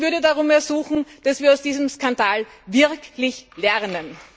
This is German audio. Ich würde darum ersuchen, dass wir aus diesem Skandal wirklich lernen.